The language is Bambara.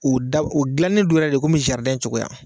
U da u dilannen don yɛrɛ de komi cogoya.